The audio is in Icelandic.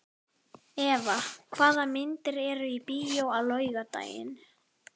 Eva, hvaða myndir eru í bíó á laugardaginn?